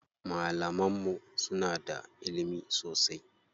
Malaman mu suna da ilimi sosai.